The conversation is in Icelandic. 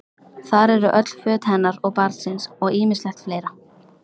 Þar eru öll föt hennar og barnsins og ýmislegt fleira.